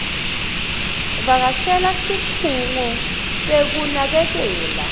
vakashela sikhungo sekunakekela